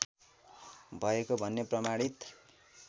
भएको भन्ने प्रमाणित